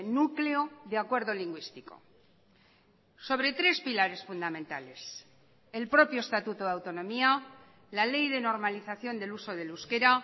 núcleo de acuerdo lingüístico sobre tres pilares fundamentales el propio estatuto de autonomía la ley de normalización del uso del euskera